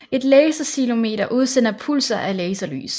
Et laserceilometer udsender pulser af laserlys